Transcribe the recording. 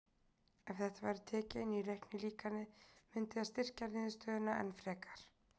Ef þetta væri tekið inn í reiknilíkanið mundi það styrkja niðurstöðuna enn frekar.